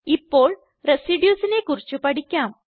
ഇപ്പോൾ Residuesനെ കുറിച്ച് പഠിക്കാം